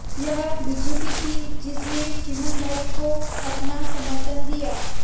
यह बीजेपी थी जिसने चिमनभाई को अपना समर्थन दिया